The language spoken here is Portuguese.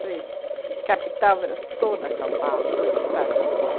Falei que a capital era toda a São Paulo, todo o estado de São Paulo.